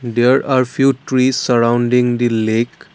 there are few trees surrounding the lake.